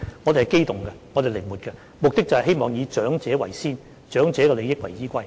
我們是機動的、靈活的，目的就是希望以長者為先，以長者的利益為依歸。